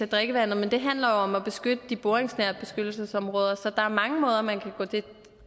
drikkevandet men det handler jo om at beskytte de boringsnære beskyttelsesområder så der er mange måder man kan